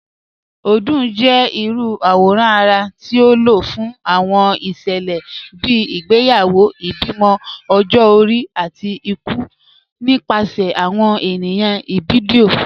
Odung jẹ irú awòrán ara ti a ló fún awọn iṣẹlẹ bíi ìgbéyàwó, ìbímọ, ọ̀jọ-ọ̀ri, àti ìkù nípasẹ̀ awọn ènìyàn Ìbibio.